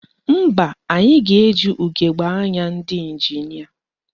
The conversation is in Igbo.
Mba, anyị ga-eji ugegbe anya ndị ịnjinịa